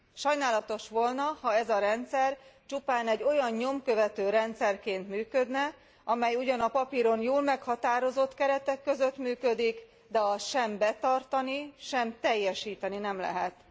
Sajnálatos volna, ha ez a rendszer csupán egy olyan nyomkövető rendszerként működne, amely ugyan papíron jól meghatározott keretek között működik, de azt sem betartani, sem teljesíteni nem lehet.